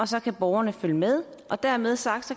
så kan borgerne følge med og dermed sagt